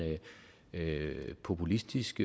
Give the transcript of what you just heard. populistisk